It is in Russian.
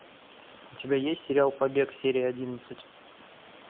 у тебя есть сериал побег серия одиннадцать